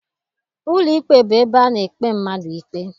Ụlọikpe bụ ebe ana ekpe mmadụ ikpe.